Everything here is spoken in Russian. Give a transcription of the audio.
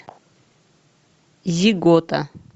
зигота